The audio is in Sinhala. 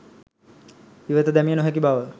ඉවත දැමිය නොහැකි බව